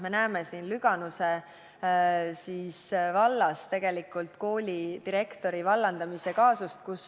Me teame seda Lüganuse valla koolidirektori vallandamise kaasust.